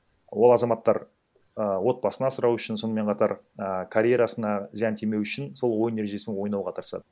ол азаматтар ііі отбасын асырау үшін сонымен қатар а карьерасына зиян тимеуі үшін сол ойын ережесімен ойнауға тырысады